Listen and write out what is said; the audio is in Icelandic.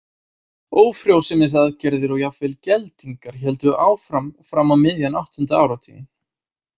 Ófrjósemisaðgerðir og jafnvel geldingar héldu áfram fram á miðjan áttunda áratuginn.